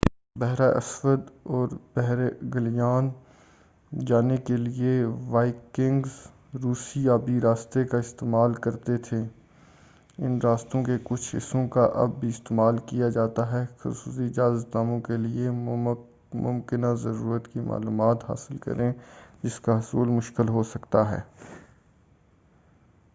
بحرہ اسود اور بحر گیلان جانے کیلئے وائکنگز روسی آبی راستے کا استعمال کرتے تھے ان راستوں کے کچھ حصّوں کا اب بھی استعمال کیا جا سکتا ہے خصوصی اجازت ناموں کیلئے ممکنہ ضرورت کی معلومات حاصل کریں جس کا حصول مشکل ہوسکتا ہے